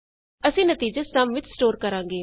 ਅਸੀਂ ਨਤੀਜਾ ਸਮ ਵਿਚ ਸਟੋਰ ਕਰਾਂਗੇ